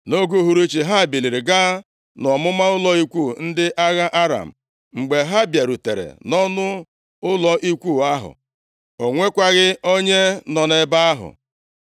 Nʼoge uhuruchi, ha biliri gaa nʼọmụma ụlọ ikwu ndị agha Aram. Mgbe ha bịarutere nʼọnụ ụlọ ikwu ahụ, o nwekwaghị onye nọ nʼebe ahụ,